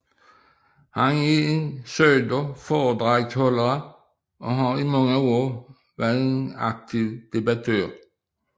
Han er en søgt foredragsholder og har i mange år været en aktiv debattør